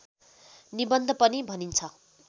निबन्ध पनि भनिन्छ